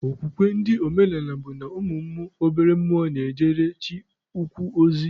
Okwukwe ndị omenaala bụ na ụmụ obere mmụọ na-ejere Chi ukwu ozi.